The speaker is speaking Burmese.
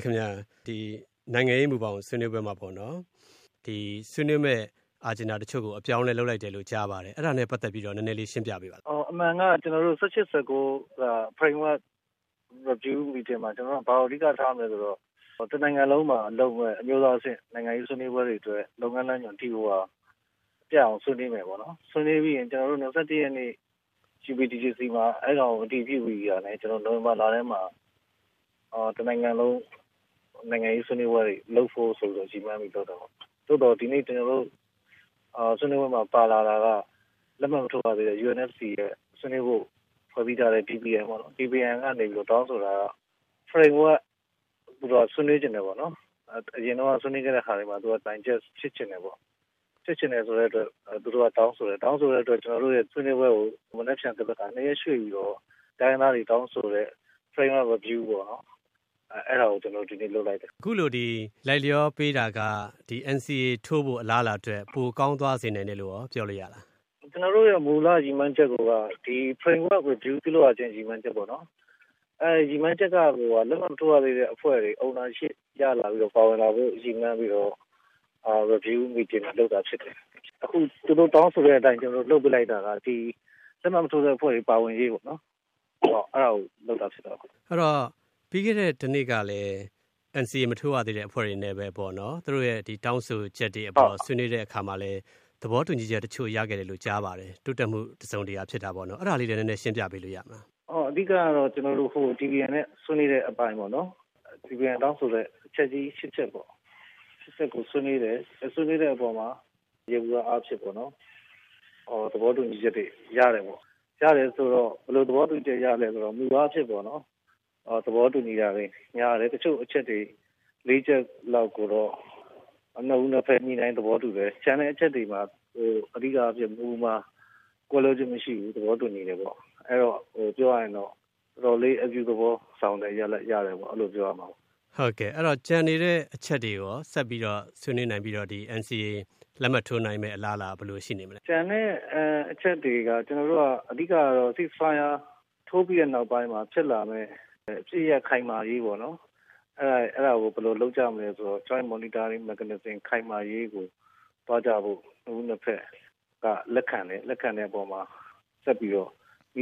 ခင်ဗျ။ နိုင်ငံရေးမူဘောင် ဆွေးနွေးပွဲမှာပေါ့နော် ဆွေးနွေးမယ့် အစီအစဉ်တချို့ကို အပြောင်းအလဲလုပ်လိုက်တယ်လို့ ကြားပါတယ်။ အဲဒါနဲ့ပတ်သက်ပြီးတော့ နည်းနည်းလေး ရှင်းပြပေးပါလား။ “အမှန်က ၁၈၊ ၁၉ က framework review meeting မှာ ဘာကို အဓိကထားမလဲဆိုတော့ တနိုင်ငံလုံးမှာလုပ်မယ့် အမျိုးသားအဆင့် နိုင်ငံရေးဆွေးနွေးပွဲတွေအတွက် လုပ်ငန်းလမ်းညွှန် ပြတ်အောင်ဆွေးနွေးမယ်ပေါ့နော်။ ဆွေးနွေးပြီးရင် ကျနော်တို့ ၂၁ ရက်နေ့ UPDGC မှာ အဲဒါကို အတည်ပြုပြီးတာနဲ့ နိုဝင်ဘာလထဲမှာ တနိုင်ငံလုံး နိုင်ငံရေးဆွေးနွေးပွဲတွေ လုပ်ဖို့ဆိုပြီးတော့ ရည်မှန်းပြီး လုပ်တာပေါ့။ ဆွေးနွေးပွဲမှာ ပါလာတာက လက်မှတ်မထိုးရသေးတဲ့ UNFC ရဲ့ ဆွေးနွေးဖို့ ဖွဲ့စည်းထားတဲ့ DPN ကနေ တောင်းဆိုထားတာက framework သူတို့က ဆွေးနွေးချင်တယ်ပေါ့နော်။ အရင်တုန်းက ဆွေးနွေးခဲ့တဲ့ဟာတွေမှာ သူတို့က digest ဖြစ်ချင်တယ်ပေါ့။ ဖြစ်ချင်တယ်ဆိုတဲ့အတွက် သူတို့က တောင်းဆိုတယ်။ တောင်းဆိုတဲ့အတွက် ကျနော်တို့ရဲ့ ဆွေးနွေးပွဲကို မနက်ဖြန်၊ သန်ဘက်ခါ နှစ်ရက်ရွှေ့ပြီးတော့ တိုင်းရင်းသားတွေ တောင်းဆိုတဲ့ framework review ပေါ့နော် အဲဒါကို ကျနော်တို့ ဒီနေ့ လုပ်လိုက်တယ်။” အခုလို လိုက်လျောပေးတာက NCA ထိုးဖို့ အလားအလာအတွက် ပိုကောင်းသွားစေ နိုင်တယ်လို့ရော ပြောလို့ရလား။ “ကျနော်တို့ရဲ့ မူလရည်မှန်းချက်ကိုက ဒီ framework ကို review ပြုလုပ်ရခြင်း ရည်မှန်းချက်ပေါ့နော်။ ရည်မှန်းချက်ကိုက လက်မှတ်မထိုးရသေးတဲ့အဖွဲ့တွေ ownership ရလာပြီးတော့ ပါဝင်လာဖို့ ရည်မှန်းပြီးတော့ review meeting လုပ်တာဖြစ်ပါတယ်။ ဖြစ်တော့ သူတို့တောင်းဆိုတဲ့အတိုင်း ကျနော်တို့လုပ်ပေးလိုက်တာက လက်မှတ်မထိုးတဲ့အဖွဲ့တွေ ပါဝင်ရေးပေါ့နော်။ အဲဒါကို လုပ်တာဖြစ်တယ်။” အဲတော့ ပြီးခဲ့တဲ့တနေ့ကလည်း NCA မထိုးရသေးတဲ့ အဖွဲ့တွေနဲ့ပဲပေါ့နော် သူတို့ရဲ့ တောင်းဆိုချက်တွေအပေါ် ဆွေးနွေးတဲ့အခါမှာလည်း သဘောတူညီချက်တချို့ ရခဲ့တယ်လို့ ကြားပါတယ်။ တိုးတက်မှု တစုံတရာဖြစ်တာပေါ့နော်။ အဲဒါလေးလည်း နည်းနည်း ရှင်းပြပေးလို့ရမလား။ “အဓိကတော့ ကျနော်တို့ DPN နဲ့ ဆွေးနွေးတဲ့အပိုင်းပေါ့နော်၊ ဆွေးနွေးတဲ့အပိုင်းမှာ DPN တောင်းဆိုတဲ့ အချက်ကြီး ၈ ချက်ပေါ့။ အဲဒါကို ဆွေးနွေးတယ်။ ဆွေးနွေးတဲ့အခါမှာ ယေဘုယျအားဖြင့် သဘောတူညီချက်တွေ ရတယ်ပေါ့။ ရတယ်ဆိုတော့ ဘယ်လိုသဘောတူညီချက် ရသလဲဆိုတော့ မူအားဖြင့်ပေါ့နော် သဘောတူညီတာတွေ များတယ်။ တချို့အချက်တွေ လေးချက်လောက်ကိုတော့ နှစ်ဦးနှစ်ဘက် ညှိနှိုင်းသဘောတူတယ်။ ကျန်တဲ့အချက်တွေမှာ အဓိကအားဖြင့် မူမှာ ကွဲလွဲခြင်းမရှိဘူး။ သဘောတူညီတယ်ပေါ့။ ပြောရရင်တော့ တော်တော်လေး အပြုသဘောဆောင်တဲ့ ရလဒ်ရတယ်လို့ အဲလို ပြောရမှာပေါ့။” အဲတော့ ကျန်နေတဲ့အချက်တွေကိုရော ဆက်ပြီးတော့ ဆွေးနွေးနိုင်ပြီးတော့ NCA လက်မှတ်ထိုးနိုင်မယ့် အလားအလာ ဘယ်လိုရှိနေမလဲ။ “ကျန်တဲ့အချက်တွေက ကျနော်တို့က အဓိကကတော့ ceasefire ထိုးပြီးတဲ့နောက်ပိုင်းမှာ ဖြစ်လာမယ့် အပစ်ရပ်ခိုင်မာရေးပေါ့နော်။ အဲဒါကို ဘယ်လိုလုပ်ကြမလဲဆိုတာ joint monitoring mechanism ခိုင်မာရေးကို သွားကြဖို့ နှစ်ဦးနှစ်ဘက်က လက်ခံတယ်။ လက်ခံတဲ့အပေါ်မှာ ဆက်ပြီးတော့ နည